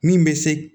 Min bɛ se